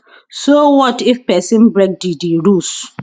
so wat if pesin break di di rules